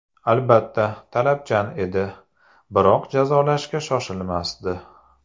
Albatta, talabchan edi, biroq jazolashga shoshilmasdi.